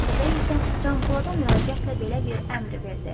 Atabəy isə Canpolada müraciətlə belə bir əmr verdi: